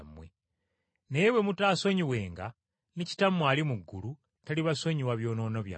Naye bwe mutaasonyiwenga, ne Kitammwe ali mu ggulu talibasonyiwa byonoono byammwe.”